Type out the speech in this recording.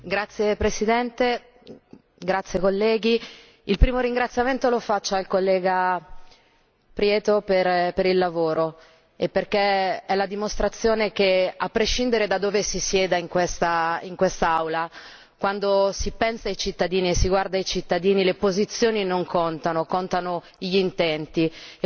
Signor Presidente, onorevoli colleghi, il primo ringraziamento lo faccio al collega Gutiérrez Prieto per il lavoro e perché è la dimostrazione che, a prescindere da dove si sieda in questa Aula, quando si pensa ai cittadini e si guarda ai cittadini le posizioni non contano, contano gli intenti.